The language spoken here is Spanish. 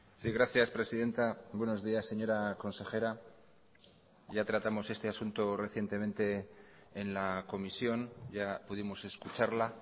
sí gracias presidenta buenos días señora consejera ya tratamos este asunto recientemente en la comisión ya pudimos escucharla